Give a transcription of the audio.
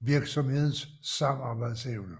virksomhedens samarbejdsevne